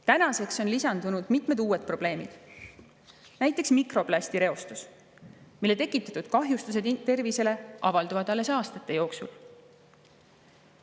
Tänaseks on lisandunud mitmed uued probleemid, näiteks mikroplastireostus, mille tekitatud kahjustused tervisele avalduvad alles aastate jooksul.